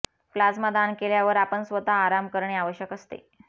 plasma दान केल्यावर आपण स्वतः आराम करणे आवश्यक असते